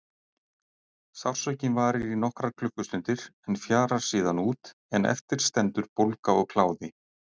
Sársaukinn varir í nokkrar klukkustundir en fjarar síðan út en eftir stendur bólga og kláði.